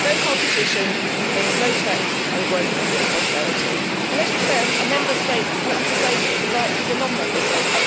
No competition means low tax and growth and prosperity and, as you say, a non-Member State cannot have the same rights as a Member State.